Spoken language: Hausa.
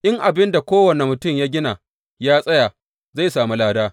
In abin da kowane mutum ya gina ya tsaya, zai sami lada.